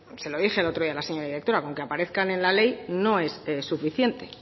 se lo dije el otro día la señora directora con que aparezcan en la ley no es suficiente